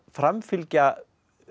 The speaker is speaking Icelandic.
framfylgja